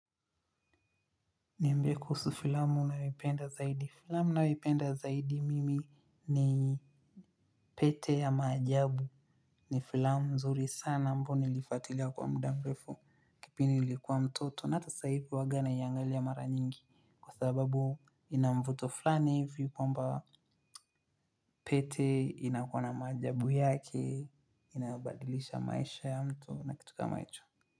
Niambie kuhusu filamu unayoipenda zaidi. Filamu ninayoipenda zaidi mimi ni pete ya maajabu ni filamu nzuri sana ambayo nilifuatila kwa muda mrefu. Kipindi nilikuwa mtoto na hata saa hivi huwaga na naiangalia mara nyingi kwa sababu ina mvuto fulani hivi kwamba pete inakuwa na maajabu yake, inabadilisha maisha ya mtu, waona kitu kama hicho.